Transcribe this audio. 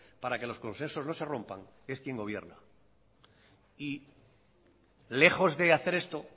para que los consensos no se rompan es quien gobierna y lejos de hacer esto